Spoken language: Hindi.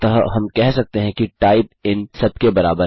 अतः हम कह सकते हैं कि टाइप इन सब के बराबर है